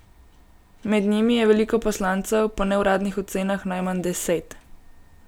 Med njimi je veliko poslancev, po neuradnih ocenah najmanj deset.